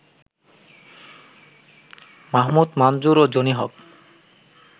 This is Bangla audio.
মাহমুদ মানজুর ও জনি হক